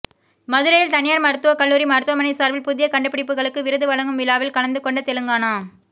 மதுரையில் தனியார் மருத்துவக்கல்லுாரி மருத்துவமனை சார்பில் புதிய கண்டுபிடிப்புகளுக்கு விருது வழங்கும் விழாவில் கலந்து கொண்ட தெலுங்கானா